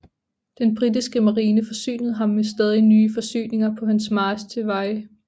Den britiske marine forsynede ham med stadig nye forsyninger på hans march til Wajh